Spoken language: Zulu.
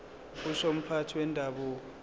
kusho umphathi wendabuko